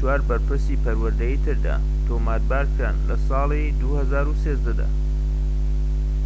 ٣٤ بەرپرسی پەروەردەیی تردا، تۆمەتبارکران لە ساڵی ٢٠١٣ دا